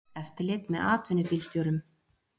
Hert eftirlit með atvinnubílstjórum